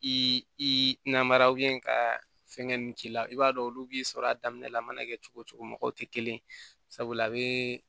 I namara ka fɛngɛ ninnu k'i la i b'a dɔn olu b'i sɔrɔ a daminɛ la a mana kɛ cogo cogo mɔgɔw tɛ kelen ye sabula a bɛ